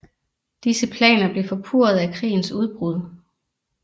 Disse planer blev forpurret af krigens udbrud